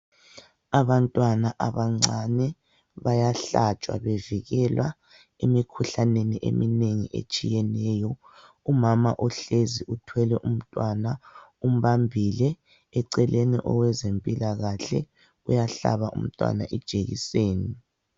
Abantwana abancane bayahlatshwa bevikelwa emikhuhlaneni eminengi etshiyeneyo. Umama uhlezi uthwele umntwana umbambile, eceleni owezempilakahle uyahlaba umntwana ijekiseni.